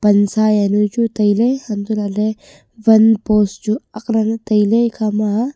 pansa juanu chu tailey hantohlakley wan post chu aatlanei tailey ekhama.